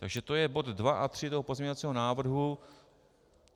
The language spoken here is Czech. Takže to je bod 2 a 3 toho pozměňovacího návrhu.